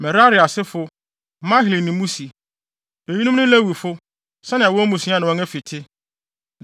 Merari asefo: Mahli ne Musi. Eyinom ne Lewifo, sɛnea wɔn mmusua ne wɔn afi te.